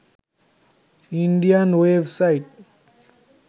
Indian web site